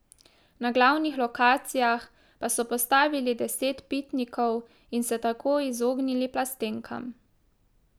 Na glavnih lokacijah pa so postavili deset pitnikov in se tako izognili plastenkam.